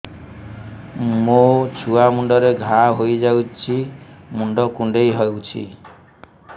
ମୋ ଛୁଆ ମୁଣ୍ଡରେ ଘାଆ ହୋଇଯାଇଛି ମୁଣ୍ଡ କୁଣ୍ଡେଇ ହେଉଛି